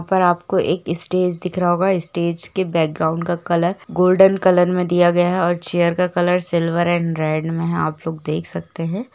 यहा पर आपको एक स्टेज दिख रहा होगा स्टेज के बैकग्राउंड का कलर गोल्डन कलर मे दिया गया है और चैर का कलर सिल्वर और रेड मे है आप लोग देख सकते है।